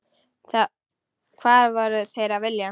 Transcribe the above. Hvað voru þeir að vilja?